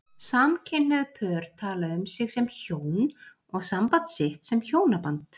Samkynhneigð pör tala um sig sem hjón og samband sitt sem hjónaband.